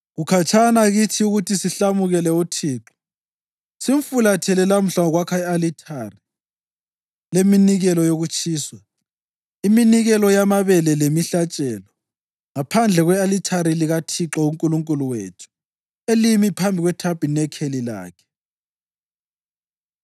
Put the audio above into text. Kukhatshana kithi ukuthi sihlamukele uThixo simfulathele lamhla ngokwakha i-alithari leminikelo yokutshiswa, iminikelo yamabele lemihlatshelo, ngaphandle kwe-alithari likaThixo uNkulunkulu wethu elimi phambi kwethabanikeli lakhe.”